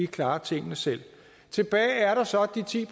klarer tingene selv tilbage er der så de ti